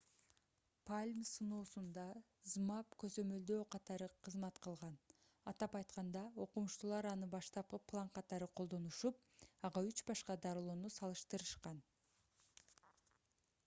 palm сыноосунда zmapp көзөмөлдөө катары кызмат кылган атап айтканда окумуштуулар аны баштапкы план катары колдонушуп ага үч башка дарылоону салыштырышкан